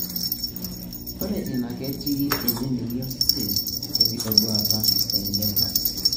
ore ina na ketii enenengi osesen wenkitaduata e latex.